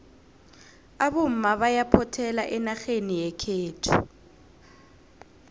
abomma bayaphothela enarheni yekhethu